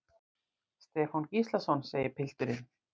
Stefán Gíslason, segir pilturinn.